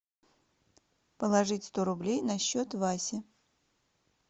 положить сто рублей на счет васи